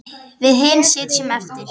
Við hin sitjum eftir.